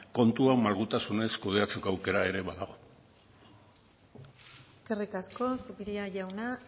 kontua malgutasunez kudeatzeko aukera ere badago eskerrik asko zupiria jauna